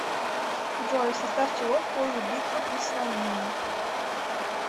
джой в состав чего входит битва при саламине